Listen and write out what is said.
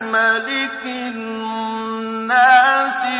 مَلِكِ النَّاسِ